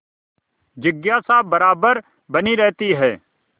जिज्ञासा बराबर बनी रहती है